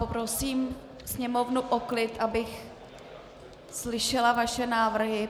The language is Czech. Poprosím Sněmovnu o klid, abych slyšela vaše návrhy.